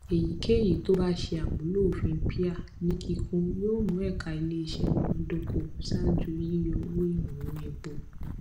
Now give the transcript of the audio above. èyíkéyìí tó bá ṣe àmúlò òfin pia ní kíkún yóò mú ẹka iléiṣẹ múnádóko ṣaájú yíyọ owó ìrànwọ epo